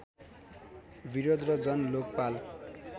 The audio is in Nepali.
विरोध र जन लोकपाल